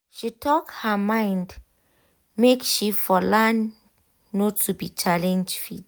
she talk her mind make she for learn no be to challenge faith